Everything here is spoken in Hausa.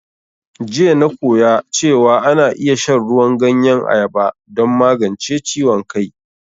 Jiya na koya cewan ana iya shan ruwan ganyen ayaba don magance ciwon kai